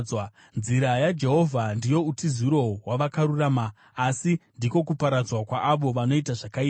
Nzira yaJehovha ndiyo utiziro hwavakarurama, asi ndiko kuparadzwa kwaavo vanoita zvakaipa.